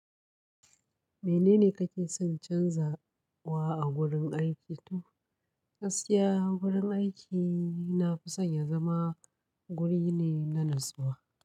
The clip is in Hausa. Menene kake son canzawa a gurin aiki? To, gaskiya gurin aiki na fi son ya zama guri ne na natsuwa.